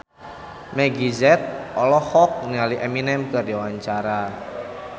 Meggie Z olohok ningali Eminem keur diwawancara